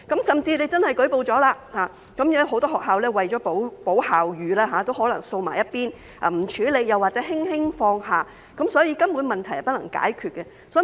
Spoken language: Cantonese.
即使真的舉報了，很多學校為保校譽也可能會把事件"掃在一邊"，不加處理或輕輕放下，所以問題根本是不能解決的。